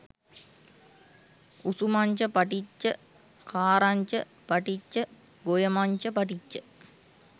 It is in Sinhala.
උසුමංච පටිච්ච ඛාරංච පටිච්ච ගොයමංච පටිච්ච